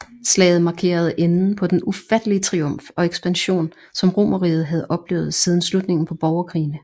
Slaget markerede enden på den ufattelige triumf og ekspansion som Romerriget havde oplevet siden slutningen på borgerkrigene